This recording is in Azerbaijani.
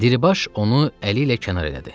Diribaş onu əli ilə kənar elədi.